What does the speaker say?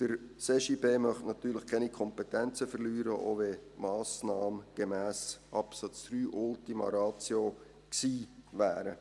Der CJB möchte natürlich keine Kompetenzen verlieren, auch wenn die Massnahme gemäss Absatz 3 Ultima Ratio gewesen wäre.